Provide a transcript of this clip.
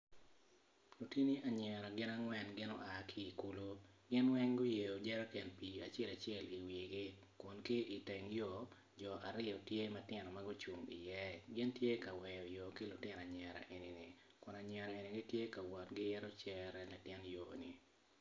Lutini anyira gin angwen gin oa ki i kulu gin weng guyeyo jeriken pii acel acel iwigi kun ki iteng yo jo aryo tye ma gucung iye gin tye ka weyo yo ki lutino anyira enini kun anyirani gitye ka wot giyito cere latin yo enini.